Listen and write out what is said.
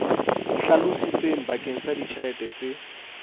hlalositsweng bakeng sa ditjhelete tse